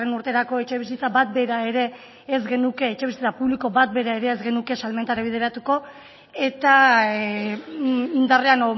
urterako etxebizitza publiko bat bera ere ez genuke salmentarako bideratu eta indarrean